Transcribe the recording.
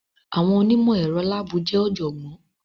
Àwọn onímọ̀ ẹ̀rọ láàbù jẹ́ ọ̀jọ̀gbọ́n.